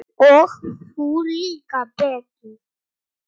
Og þú líka Pétur.